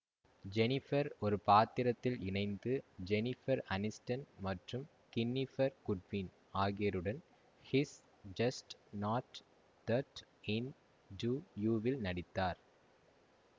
Jennifer ஒரு பாத்திரத்தில் இணைந்து ஜெனிஃபர் அனிஸ்டன் மற்றும் கின்னிஃபர் குட்வின் ஆகியோருடன் he's just not that into you வில் நடித்தார்